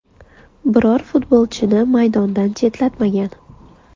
Biror futbolchini maydondan chetlatmagan.